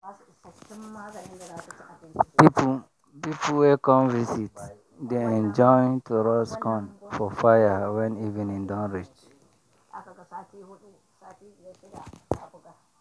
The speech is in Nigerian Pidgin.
people people wey come visit dey enjoy to roast corn for fire when evening don reach.